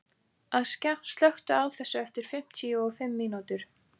Askja, slökktu á þessu eftir fimmtíu og fimm mínútur.